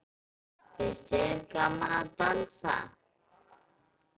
Finnst þér gaman að dansa?